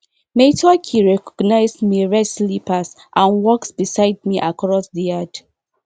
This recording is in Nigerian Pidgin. mai turkey recognizes mai red slippers and walks beside me across di yard